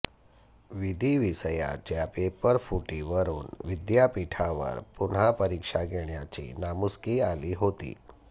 विधि विषयाच्या पेपरफुटीवरून विद्यापीठावर पुन्हा परीक्षा घेण्याची नामुष्की आली होती